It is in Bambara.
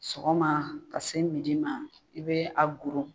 Sɔgɔma ka se midi ma i bɛ a goro.